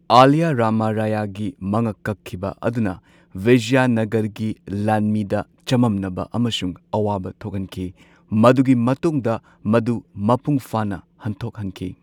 Alia Rama ꯔꯥꯌꯥꯒꯤ ꯃꯉꯛ ꯀꯛꯈꯤꯕ ꯑꯗꯨꯅ ꯕꯤꯖꯌꯥꯅꯒꯔꯒꯤ ꯂꯥꯟꯃꯤꯗ ꯆꯃꯝꯅꯕ ꯑꯃꯁꯨꯡ ꯑꯋꯥꯕ ꯊꯣꯛꯍꯟꯈꯤ꯫ ꯃꯗꯨꯒꯤ ꯃꯇꯨꯡꯗ ꯃꯗꯨ ꯃꯄꯨꯡ ꯐꯥꯅ ꯍꯟꯊꯣꯛꯍꯟꯈꯤ꯫